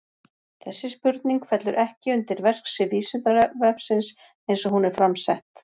Þessi spurning fellur ekki undir verksvið Vísindavefsins eins og hún er fram sett.